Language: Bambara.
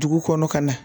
Dugu kɔnɔ ka na